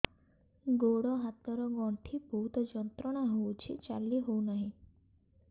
ଗୋଡ଼ ହାତ ର ଗଣ୍ଠି ବହୁତ ଯନ୍ତ୍ରଣା ହଉଛି ଚାଲି ହଉନାହିଁ